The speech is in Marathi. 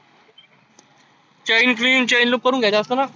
chain chin chain सगळ करुण घ्यायच असत ना.